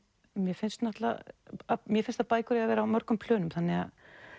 mér finnst mér finnst að bækur eigi að vera á mörgum plönum þannig að